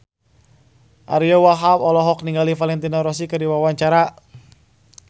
Ariyo Wahab olohok ningali Valentino Rossi keur diwawancara